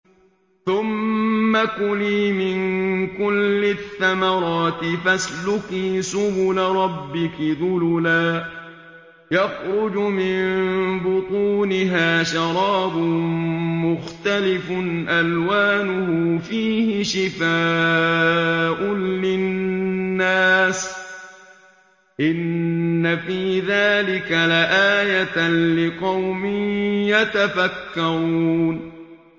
ثُمَّ كُلِي مِن كُلِّ الثَّمَرَاتِ فَاسْلُكِي سُبُلَ رَبِّكِ ذُلُلًا ۚ يَخْرُجُ مِن بُطُونِهَا شَرَابٌ مُّخْتَلِفٌ أَلْوَانُهُ فِيهِ شِفَاءٌ لِّلنَّاسِ ۗ إِنَّ فِي ذَٰلِكَ لَآيَةً لِّقَوْمٍ يَتَفَكَّرُونَ